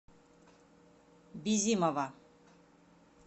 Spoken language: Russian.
бизимова